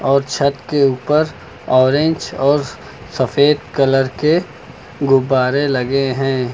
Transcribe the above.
और छत के ऊपर ऑरेंज और सफेद कलर के गुब्बारे लगे हैं।